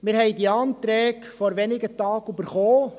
Wir haben diese Anträge vor wenigen Tagen erhalten.